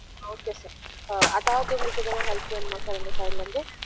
ஆம் okay sir எதாவது உங்கல்கு எதுன help வெனுமா sir எங்க side -ல இருந்து